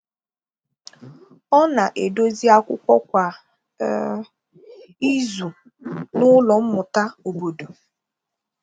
Ọ na-edòzì akwụkwọ̀ kwa um izù n’ụlọ mmụta obodo.